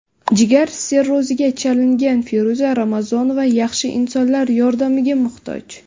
Jigar sirroziga chalingan Feruza Ramazonova yaxshi insonlar yordamiga muhtoj.